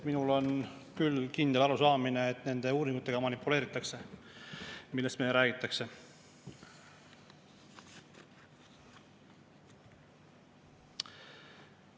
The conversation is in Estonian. Minul on küll kindel arusaamine, et nende uuringutega, millest meile räägitakse, manipuleeritakse.